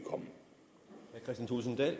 jeg